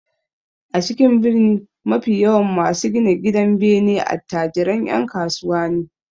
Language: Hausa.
A cikin birni mafi yawan masu gina gidanbene attajiran 'yan kasuwa ne